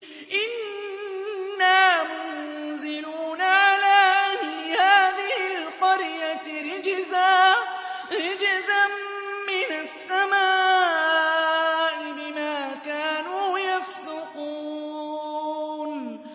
إِنَّا مُنزِلُونَ عَلَىٰ أَهْلِ هَٰذِهِ الْقَرْيَةِ رِجْزًا مِّنَ السَّمَاءِ بِمَا كَانُوا يَفْسُقُونَ